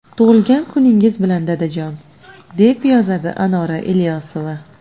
Tug‘ilgan kuningiz bilan, dadajon”, deb yozadi Anora Ilyosova.